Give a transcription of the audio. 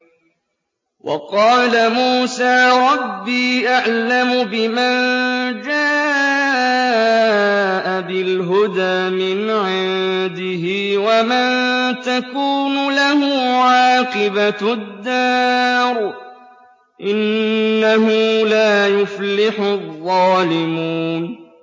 وَقَالَ مُوسَىٰ رَبِّي أَعْلَمُ بِمَن جَاءَ بِالْهُدَىٰ مِنْ عِندِهِ وَمَن تَكُونُ لَهُ عَاقِبَةُ الدَّارِ ۖ إِنَّهُ لَا يُفْلِحُ الظَّالِمُونَ